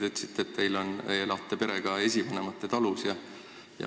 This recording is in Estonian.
Te ütlesite, et te elate perega esivanemate talus.